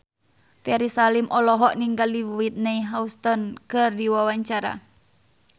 Ferry Salim olohok ningali Whitney Houston keur diwawancara